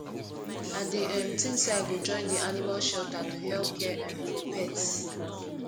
i dey um think say i go join di animal shelter to help care um for pets